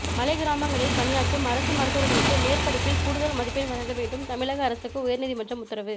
மலைக் கிராமங்களில் பணியாற்றும் அரசு மருத்துவர்களுக்கு மேற்படிப்பில் கூடுதல் மதிப்பெண் வழங்க வேண்டும் தமிழக அரசுக்கு உயர் நீதிமன்றம் உத்தரவு